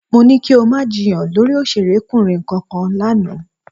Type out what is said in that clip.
Mo ní kí o má jiyàn lórí òṣèrékùnrin kankan lánàá